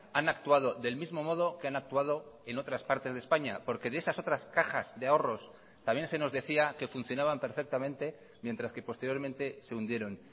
han actuado del mismo modo que han actuado en otras partes de españa porque de esas otras cajas de ahorros también se nos decía que funcionaban perfectamente mientras que posteriormente se hundieron